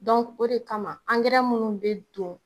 Dɔnku o de kama ankɛrɛ minnu bɛ don.